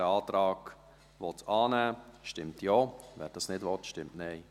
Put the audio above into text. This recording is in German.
Wer den Antrag annehmen will, stimmt Ja, wer dies nicht will, stimmt Nein.